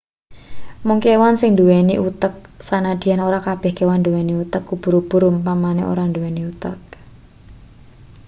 mung kewan sing nduweni utek sanadyan ora kabeh kewan nduweni utek ubur-ubur umpamane ora nduweni utek